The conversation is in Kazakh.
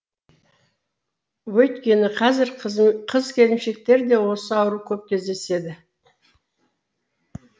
өйткені қазір қыз келіншектерде осы ауру көп кездеседі